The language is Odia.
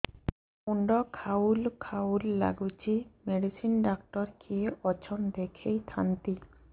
ମୁଣ୍ଡ ଖାଉଲ୍ ଖାଉଲ୍ ଡାକୁଚି ମେଡିସିନ ଡାକ୍ତର କିଏ ଅଛନ୍ ଦେଖେଇ ଥାନ୍ତି